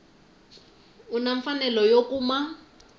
u na mfanelo yo kuma